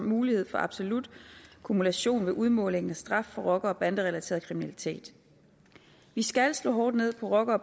mulighed for absolut kumulation ved udmålingen af straf for rocker og banderelateret kriminalitet vi skal slå hårdt ned på rocker og